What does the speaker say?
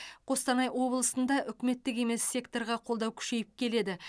қостанай облысында үкіметтік емес секторға қолдау күшейіп келеді